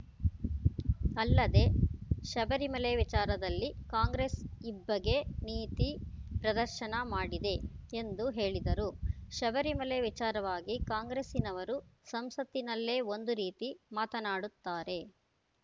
ಅಲ್ಲದೆ ಶಬರಿಮಲೆ ವಿಚಾರದಲ್ಲಿ ಕಾಂಗ್ರೆಸ್‌ ಇಬ್ಭಗೆ ನೀತಿ ಪ್ರದರ್ಶನ ಮಾಡಿದೆ ಎಂದು ಹೇಳಿದರು ಶಬರಿಮಲೆ ವಿಚಾರವಾಗಿ ಕಾಂಗ್ರೆಸ್ಸಿನವರು ಸಂಸತ್ತಿನಲ್ಲೇ ಒಂದು ರೀತಿ ಮಾತನಾಡುತ್ತಾರೆ